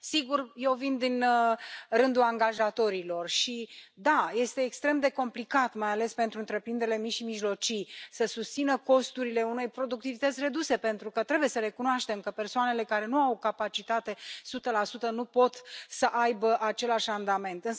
Sigur, eu vin din rândul angajatorilor și da, este extrem de complicat, mai ales pentru întreprinderile mici și mijlocii, să susțină costurile unei productivități reduse, pentru că trebuie să recunoaștem că persoanele care nu au capacitate de muncă de 100 nu pot să aibă același randament.